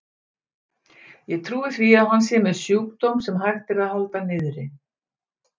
Ég trúi því að hann sé með sjúkdóm, sem hægt er að halda niðri.